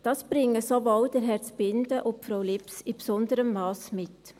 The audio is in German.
Das bringen sowohl Herr Zbinden und Frau Lips in besonderem Masse mit.